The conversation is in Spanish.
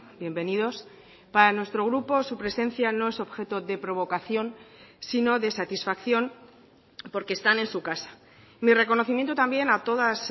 bienvenidos para nuestro grupo su presencia no es objeto de provocación sino de satisfacción porque están en su casa mi reconocimiento también a todas